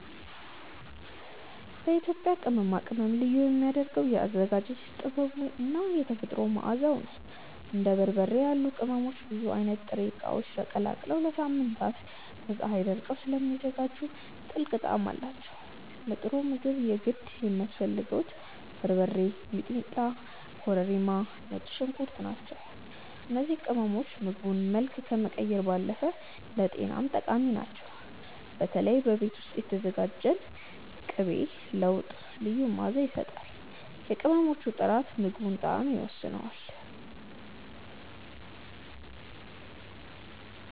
የኢትዮጵያ ቅመማ ቅመም ልዩ የሚያደርገው የአዘገጃጀት ጥበቡ እና የተፈጥሮ መዓዛው ነው። እንደ በርበሬ ያሉ ቅመሞች ብዙ አይነት ጥሬ እቃዎች ተቀላቅለው ለሳምንታት በፀሀይ ደርቀው ስለሚዘጋጁ ጥልቅ ጣዕም አላቸው። ለጥሩ ምግብ የግድ የሚያስፈልጉት በርበሬ፣ ሚጥሚጣ፣ ኮረሪማ እና ነጭ ሽንኩርት ናቸው። እነዚህ ቅመሞች የምግቡን መልክ ከመቀየር ባለፈ ለጤናም ጠቃሚ ናቸው። በተለይ በቤት ውስጥ የተዘጋጀ ንጥር ቅቤ ለወጥ ልዩ መዓዛ ይሰጣል። የቅመሞቹ ጥራት የምግቡን ጣዕም ይወስነዋል።